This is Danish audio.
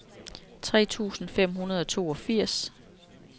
tre tusind fem hundrede og toogfirs